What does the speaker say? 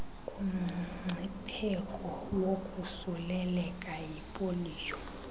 kumngcipheko wokosuleleka yipoliyo